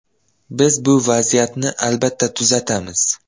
Biz bu vaziyatni albatta tuzatamiz.